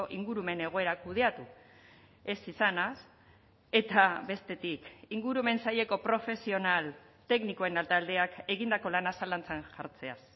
ingurumen egoera kudeatu ez izanaz eta bestetik ingurumen saileko profesional teknikoen taldeak egindako lanaz zalantzan jartzeaz